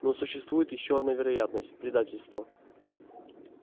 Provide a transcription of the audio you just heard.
но существует ещё одна вероятность предательство